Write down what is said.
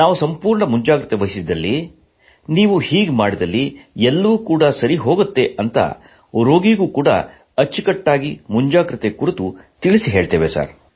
ನಾವು ಸಂಪೂರ್ಣ ಮುಂಜಾಗ್ರತೆವಹಿಸಿದಲ್ಲಿ ನೀವು ಹೀಗೆ ಮಾಡಿದಲ್ಲಿ ಎಲ್ಲವೂ ಸರಿಹೋಗುತ್ತದೆ ಎಂದು ರೋಗಿಗೂ ಅಚ್ಚುಕಟ್ಟಾಗಿ ಮುಂಜಾಗ್ರತೆ ಕುರಿತು ತಿಳಿಸುತ್ತೇವೆ